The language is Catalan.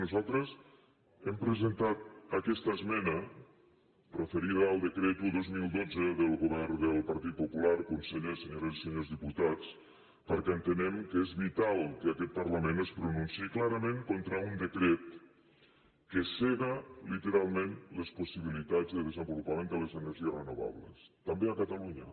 nosaltres hem presentat aquesta esmena referida al decret un dos mil dotze del govern del partit popular conseller senyores i senyors diputats perquè entenem que és vital que aquest parlament es pronunciï clarament contra un decret que sega literalment les possibilitats de desenvolupament de les energies renovables també a catalunya